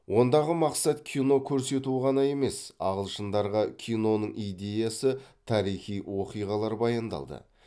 ондағы мақсат кино көрсету ғана емес ағылшындарға киноның идеясы тарихи оқиғалар баяндалды